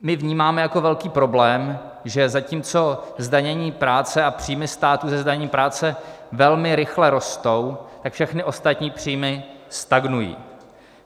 My vnímáme jako velký problém, že zatímco zdanění práce a příjmy státu ze zdanění práce velmi rychle rostou, tak všechny ostatní příjmy stagnují.